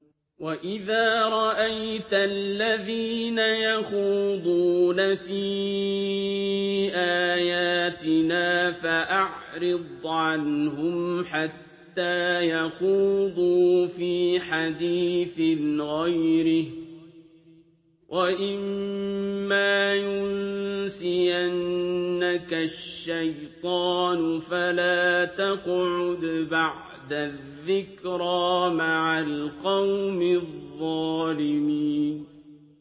وَإِذَا رَأَيْتَ الَّذِينَ يَخُوضُونَ فِي آيَاتِنَا فَأَعْرِضْ عَنْهُمْ حَتَّىٰ يَخُوضُوا فِي حَدِيثٍ غَيْرِهِ ۚ وَإِمَّا يُنسِيَنَّكَ الشَّيْطَانُ فَلَا تَقْعُدْ بَعْدَ الذِّكْرَىٰ مَعَ الْقَوْمِ الظَّالِمِينَ